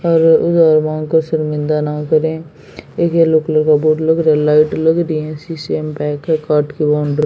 और उधार मांग कर शर्मिंदा न करें एक येलो कलर का बोर्ड लग रहा लाइट लग रही हैं शीशे में पैक है काट के बाउंड--